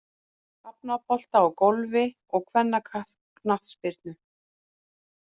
Hafnabolta og Golfi og kvennaknattspyrnu.